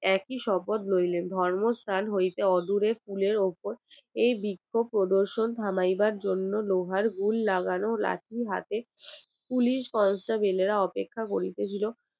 একই শপথ লইলেন ধর্মস্থান হইতে অদূরে কুলের ওপর এই বৃক্ষ প্রদর্শন থামাবার জন্য লোহার grill লাগানো লাঠি হাতে পুলিশ অপেক্ষা করিতেছিল